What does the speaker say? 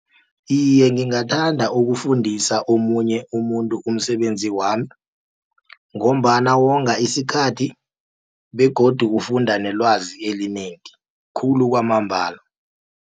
Iye, ngingathanda ukufundisa omunye umuntu umsebenzi wami, ngombana wonga isikhathi begodu ufunda nelwazi elinengi khulu kwamambala.